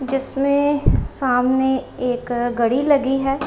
जिसमें सामने एक घड़ी लगी है।